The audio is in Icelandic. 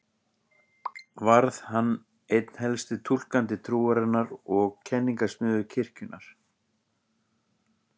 Varð hann einn helsti túlkandi trúarinnar og kenningasmiður kirkjunnar.